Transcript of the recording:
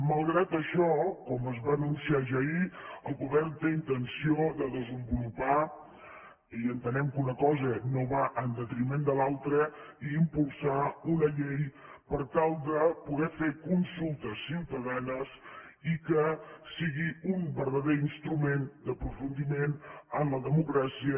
malgrat això com es va anunciar ja ahir el govern té intenció de desenvolupar i entenem que una cosa no va en detriment de l’altra i impulsar una llei per tal de poder fer consultes ciutadanes i que sigui un verdader instrument d’aprofundiment en la democràcia